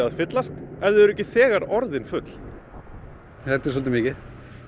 að fyllast ef þau eru ekki þegar orðin full já þetta er svolítið mikið